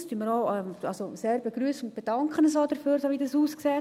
Das begrüssen wir sehr und bedanken uns auch dafür, so wie es aussieht.